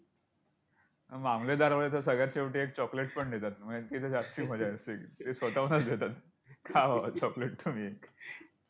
पण मामलेदारमध्ये तर, सगळ्यात शेवटी एक chocolate पण देतात म्हणजे तिथे जास्ती मजा असते. ते स्वतःहूनच देतात! खा बाबा! chocolate ने कमी होईल!